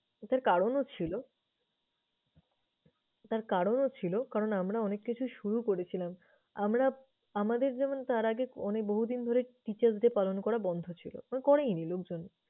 তো তার কারণও ছিলো তার কারণও ছিল। কারণ আমরা অনেক কিছু শুরু করেছিলাম আমরা আমাদের যেমন তার আগে অনে~ বহুদিন ধরে teacher's day পালন করা বন্ধ ছিল করেইনি লোকজন।